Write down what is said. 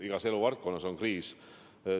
Igas eluvaldkonnas on kriis.